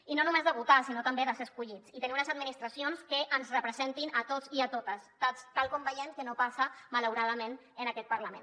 i no només de votar sinó també de ser escollits i tenir unes administracions que ens representin a tots i a totes tal com veiem que no passa malauradament en aquest parlament